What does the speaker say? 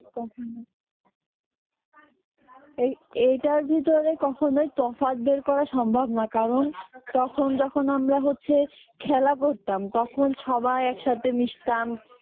এই এইটার ভিতরে কখনোই তফাৎ বের করা সম্ভব না কারণ তখন যখন আমরা হচ্ছে খেলা করতাম তখন সবাই একসাথে মিশতাম